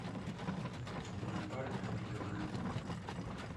лунапарк би два